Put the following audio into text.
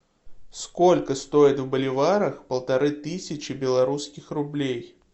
сколько стоит в боливарах полторы тысячи белорусских рублей